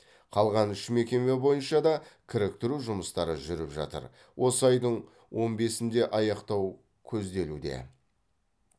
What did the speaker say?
қалған үш мекеме бойынша да кіріктіру жұмыстары жүріп жатыр осы айдың он бесінде аяқтау көзделуде